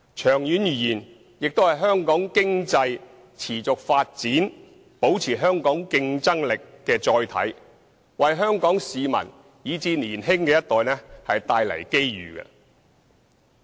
長遠而言，它亦是香港經濟持續發展，保持香港競爭力的載體，為香港市民以至年輕的一代帶來機遇。